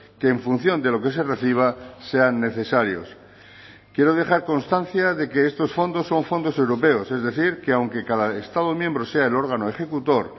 que en función de lo que se reciba sean necesarios quiero dejar constancia de que estos fondos son fondos europeos es decir que aunque cada estado miembro sea el órgano ejecutor